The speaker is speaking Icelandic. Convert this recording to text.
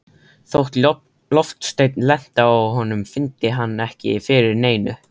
Þótt loftsteinn lenti á honum fyndi hann ekki fyrir neinu.